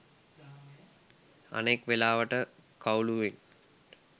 අනෙක් වෙලාවට කවුළුවෙන්